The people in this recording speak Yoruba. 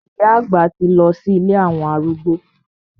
Ìyá àgbà ti lọ sí ilé àwọn arúgbó.